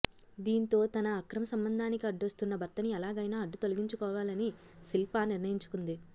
దీంతో తన అక్రమ సంబంధానికి అడ్డొస్తున్న భర్తను ఎలాగైనా అడ్డు తొలగించుకోవాలని శిల్ప నిర్ణయించుకుంది